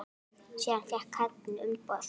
Síðan fékk Katrín umboð.